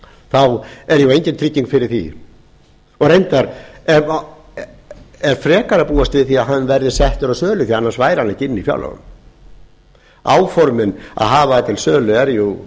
þá er jú engin trygging fyrir því og reyndar er frekar að búast við því að hann verði settur á sölu því annars væri hann ekki inni í fjárlögum áformin um að hafa til sölu eru jú